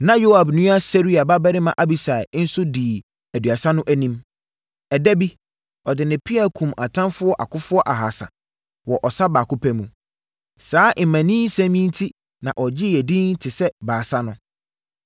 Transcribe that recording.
Na Yoab nua Seruia babarima Abisai nso dii Aduasa no anim. Ɛda bi, ɔde ne pea kumm atamfoɔ akofoɔ ahasa wɔ ɔsa baako pɛ mu. Saa mmaninsɛm yi enti na ɔgyee edin te sɛ Baasa no.